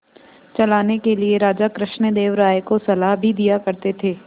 चलाने के लिए राजा कृष्णदेव राय को सलाह भी दिया करते थे